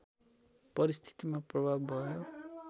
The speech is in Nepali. परिस्थितिमा प्रभाव भयो